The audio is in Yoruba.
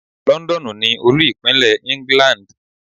Londonu ni Olú-Ìpínlẹ̀ England.